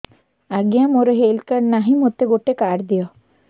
ଆଜ୍ଞା ମୋର health card ନାହିଁ ମୋତେ ଗୋଟେ କାର୍ଡ ଦିଅ